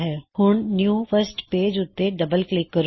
ਹੁਣ new first page ਉੱਤੇ double click ਕਰੋ